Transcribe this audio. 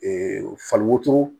fali wotoro